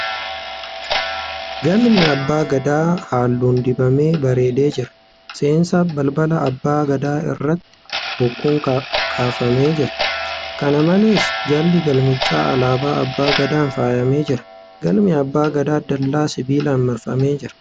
Galmi Abbaa Gadaa halluun dibamee bareedee jira. Seensa balbala abbaa gadaa irratti bokkuun kaafamee jira. Kqna malees, jalli galmichaa alaabaa abbaa gadaan faayanee jira. Galmi abbaa gadaa dallaa sibiilaan marfamee jira.